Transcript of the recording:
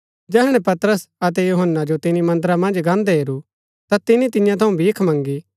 जैहणै पतरस अतै यूहन्‍ना जो तिनी मन्दरा मन्ज गान्दै हेरू ता तिनी तियां थऊँ भीख मँगी